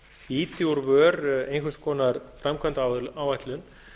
ýti úr vör einhvers konar framkvæmdaáætlun